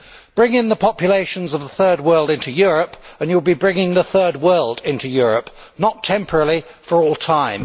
Bring the populations of the Third World into Europe and you will be bringing the Third World into Europe not temporarily, but for all time.